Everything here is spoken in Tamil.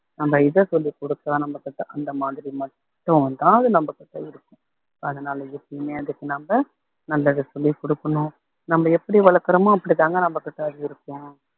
நம்ம இத சொல்லிக் கொடுத்தா நம்ம கிட்ட அந்த மாதிரி மட்டும்தான் அது நம்ம கிட்ட இருக்கும் அதனால எப்பயுமே அதுக்கு நம்ம நல்லது சொல்லிக் கொடுக்கணும் நம்ம எப்படி வளர்க்கிறோமோ அப்படித்தாங்க நம்மகிட்ட அது இருக்கும்